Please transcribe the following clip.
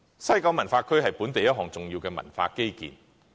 西九文化區是本地一項重要的文化基建。